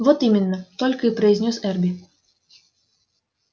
вот именно только и произнёс эрби